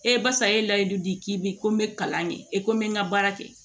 basa ye layidu di k'i bi ko n bɛ kalan de e ko n bɛ n ka baara kɛ